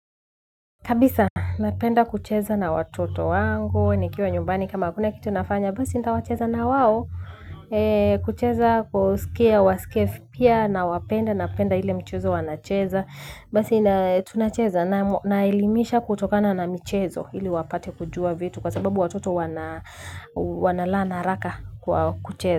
Kabisa napenda kucheza na watoto wangu nikiwa nyumbani kama hakuna kitu nafanya basi nita wacheza na wao kucheza kusikia wa skef pia na wapenda napenda ile mchezo wanacheza basi tunacheza naelimisha kutokana na mchezo ili wapate kujua vitu kwa sababu watoto wanalearn haraka kwa kucheza.